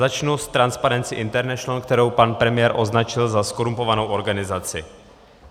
Začnu s Transparency International, kterou pan premiér označil za zkorumpovanou organizaci.